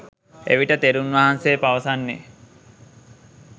එවිට තෙරුන් වහන්සේ පවසන්නේ